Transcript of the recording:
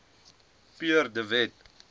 pierre de wet